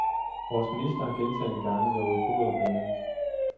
Vores minister har gentagne gange lovet bod og bedring.